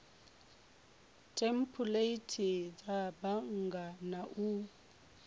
thempuleithi dza bannga na u